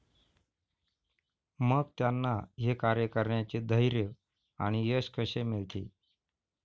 मग त्यांना हे कार्य करण्याचे धैर्य आणि यश कसे मिळते?